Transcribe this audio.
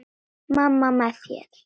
Mamma með þér.